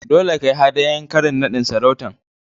Dolle ka yi hadayan karin nadin sarautan.